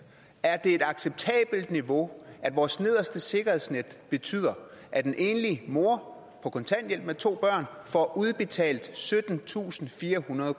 er det et acceptabelt niveau at vores nederste sikkerhedsnet betyder at en enlig mor på kontanthjælp med to børn får udbetalt syttentusinde og firehundrede